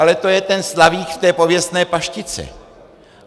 Ale to je ten slavík v té pověstné paštice.